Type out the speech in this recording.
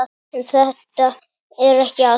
En þetta er ekki allt.